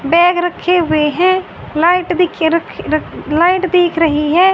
Bag रखे हुएं हैं लाइट दिखे रखी र लाइट दिख रखी हैं।